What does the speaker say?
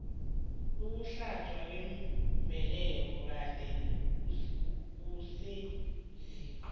ukuhlatjwa kwembeleko kade kusenziwa